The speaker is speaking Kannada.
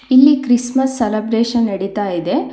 ಇಲ್ಲಿ ಕ್ರಿಸ್ ಮಸ್ ಸೆಲಬ್ರೆಶನ್ ನಡಿತ ಇದೆ.